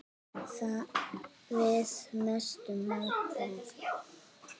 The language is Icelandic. Við vorum mestu mátar.